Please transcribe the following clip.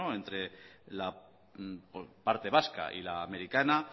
entre la parte vasca y la americana